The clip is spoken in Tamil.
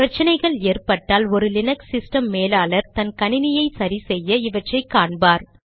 பிரச்சினைகள் ஏற்பட்டால் ஒரு லீனக்ஸ் சிஸ்டம் மேலாளர் தன் கணினியை சரி செய்ய இவற்றை காண்பார்